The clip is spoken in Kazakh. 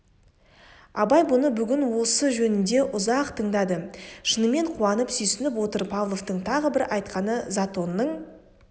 абай бұны бүгін осы жөнде ұзақ тыңдады шынымен қуанып сүйсініп отыр павловтың тағы бір айтқаны затонның